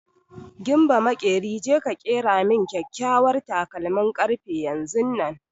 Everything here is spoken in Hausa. Gimba maƙeri, je ka ƙera min kyakyawar takalmin ƙarfe yanzunnan!